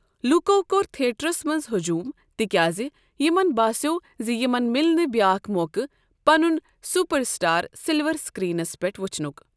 لوٗکَو کوٚر تھیٹرَس منٛز ہجوٗم، تِکیٛازِ یِمَن باسیو زِ یِمَن مِلنہٕ بیٛاکھ موقعہٕ پنُن سپر سٹار سلور سکرینس پٮ۪ٹھ ؤچھنُک ۔